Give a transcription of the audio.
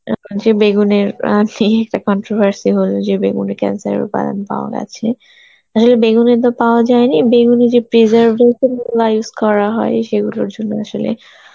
যে বেগুনের controvertible যে বেগুনে cancer এর রূপায়ণ পাওয়া গেছে, আসলে বেগুনে তো পাওয়া যায়নি বেগুনে যে preservative গুলা use করা হয় সেগুলোর জন্য আসলে